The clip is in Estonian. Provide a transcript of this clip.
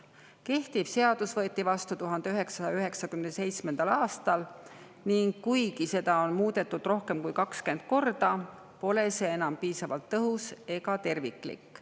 Kehtiv seadus võeti vastu 1997. aastal ning kuigi seda on muudetud rohkem kui 20 korda, pole see enam piisavalt tõhus ega terviklik.